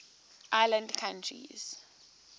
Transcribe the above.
island countries